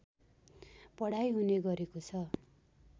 पढाइ हुने गरेको छ